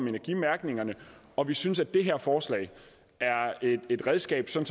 energimærkning og vi synes at det her forslag er et redskab til at